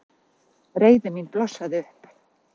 Reiði mín blossaði upp.